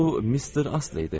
Bu Mister Asley idi.